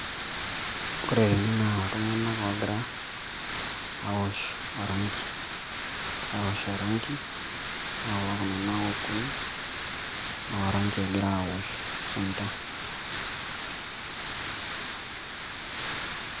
Ore ene naa iltunganak ogira aosh oranki , egira aosh oranki , ore kulo tunganak okuni naa oranki egira aosh isunta.